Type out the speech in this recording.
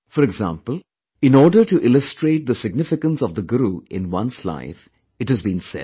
For example, in order to illustrate the significance of the Guru in one's life, it has been said